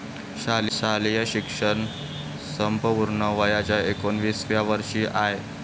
शालेय शिक्षण संपवून वयाच्या एकोणिसाव्या वर्षी आय.